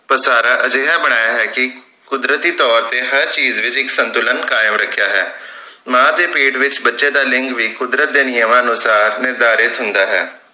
ਵਸਾਰਾ ਅਜਿਹਾ ਬਣਾਇਆ ਹੈ ਕਿ ਕੁਦਰਤੀ ਤੌਰ ਤੇ ਹਰ ਚੀਜ ਵਿਚ ਇਕ ਸੰਤੁਲਨ ਕਾਇਮ ਰਖਿਆ ਹੈ ਮਾਂ ਦੇ ਪੇਟ ਵਿਚ ਬੱਚੇ ਦਾ ਲਿੰਗ ਵੀ ਕੁੱਦਰਤ ਦੇ ਨਿਯਮਾਂ ਅਨੁਸਾਰ ਨਿਰਧਾਰਿਤ ਹੁੰਦਾ ਹੈ